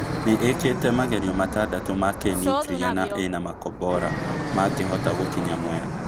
Nĩĩkĩte magerio matandato ma kĩnũkiria na ĩna makobora magĩhota gũkinya Mwea